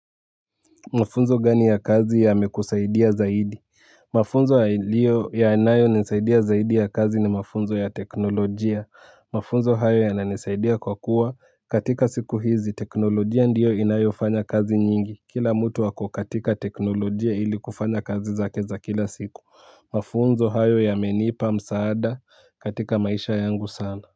Mafunzo gani ya kazi ya mekusaidia zaidi. Mafunzo ya nayo nisaidia zaidi ya kazi ni mafunzo ya teknolojia. Mafunzo hayo yananisaidia kwa kuwa katika siku hizi teknolojia ndiyo inayo fanya kazi nyingi. Kila mtu wako katika teknolojia ili kufanya kazi zake za kila siku mafunzo hayo yamenipa msaada katika maisha yangu sana.